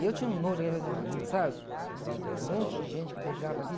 E eu tinha um nojo, daqueles, sabe? Um monte de gente que beijava